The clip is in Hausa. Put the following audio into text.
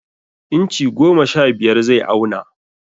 Inchi goma sha biyar zai auna.